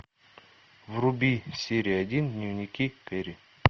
вруби серия один дневники кэрри